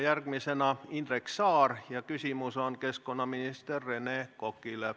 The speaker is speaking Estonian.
Järgmisena küsib Indrek Saar ja küsimus on keskkonnaminister Rene Kokale.